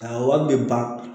A wari bɛ ban